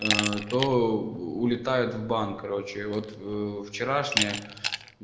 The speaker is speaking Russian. ээ то улетают в банк короче вот ээ вчерашнее